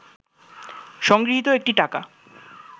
সংগৃহীত একটি টাকা